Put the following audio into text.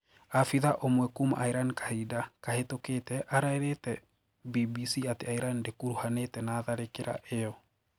Abitha ũmwe kuuma Iran kahinda kahituku arairite BBC ati Iran ndikuruhanite na tharikira iyo.